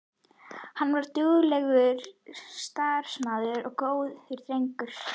Hann var duglegur, starfsamur og góður drengur.